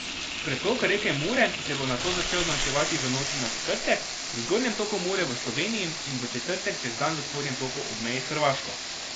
Pretok reke Mure se bo nato začel zmanjševati v noči na četrtek v zgornjem toku Mure v Sloveniji in v četrtek čez dan v spodnjem toku ob meji s Hrvaško.